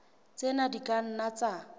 tsena di ka nna tsa